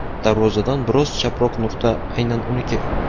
Darvozadan biroz chaproq nuqta aynan uniki.